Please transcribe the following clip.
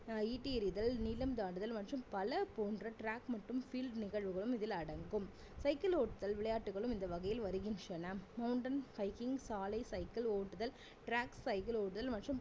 அஹ் ஈட்டி எறிதல் நீளம் தாண்டுதல் மற்றும் பல போன்ற track மற்றும் field நிகழ்வுகளும் இதில் அடங்கும் சைக்கிள் ஓட்டுதல் விளையாட்டுகளும் இந்த வகையில் வருகின்றன mountain cycling சாலை சைக்கிள் ஓட்டுதல் track cycle ஓட்டுதல் மற்றும்